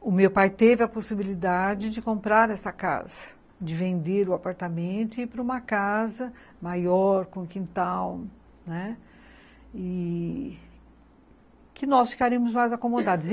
o meu pai teve a possibilidade de comprar essa casa, de vender o apartamento e ir para uma casa maior, com quintal, né, que nós ficaríamos mais acomodados.